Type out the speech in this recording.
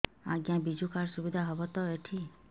ଆଜ୍ଞା ବିଜୁ କାର୍ଡ ସୁବିଧା ହବ ତ ଏଠି